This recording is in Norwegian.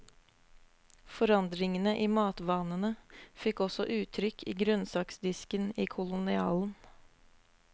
Forandringene i matvanene fikk også uttrykk i grønnsaksdisken i kolonialen.